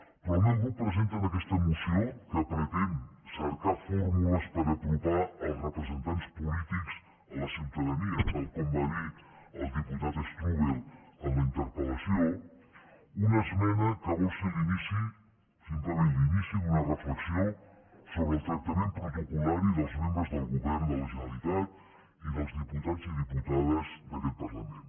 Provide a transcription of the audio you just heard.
però el meu grup presenta en aquesta moció que pretén cercar fórmules per apropar els representants polítics a la ciutadania tal com va dir el diputat strubell en la interpel·lació una esmena que vol ser l’inici simplement l’inici d’una reflexió sobre el tractament protocol·lari dels membres del govern de la generalitat i dels diputats i diputades d’aquest parlament